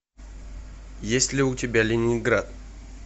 есть ли у тебя ленинград